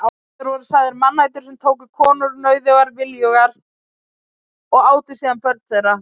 Þeir voru sagðir mannætur sem tóku konur nauðugar viljugar og átu síðan börn þeirra.